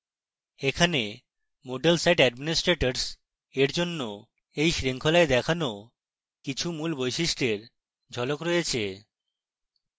এখানে moodle site administrators এর জন্য এই শৃঙ্খলায় দেখানো কিছু moodle বৈশিষ্ট্য এর ঝলক রয়েছে